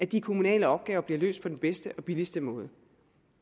de kommunale opgaver bliver løst på den bedste og billigste måde